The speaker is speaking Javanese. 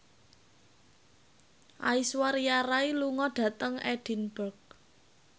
Aishwarya Rai lunga dhateng Edinburgh